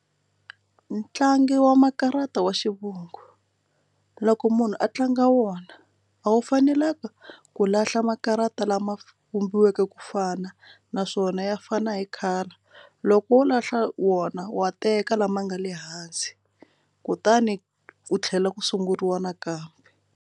Ntlangu wa makarata wa xivungu loko munhu a tlanga wona a wu fanelanga ku lahla makarata lama humesiweke ku fana xana naswona ya fana na hi khala loko wo lahla wona wa teka lama nga le hansi kutani ku tlhela ku sunguriwa nakambe.